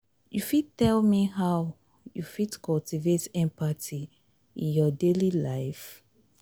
you fit tell me how you fit cultivate empathy in your daily life?